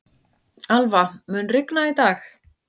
Alva, mun rigna í dag?